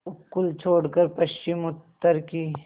उपकूल छोड़कर पश्चिमउत्तर की